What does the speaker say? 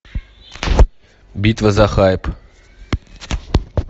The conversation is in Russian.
битва за хайп